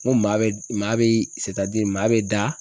N ko maa be, maa be se ka di maa be da